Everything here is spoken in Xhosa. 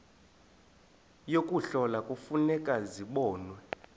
yokuhlola kufuneka zibonwe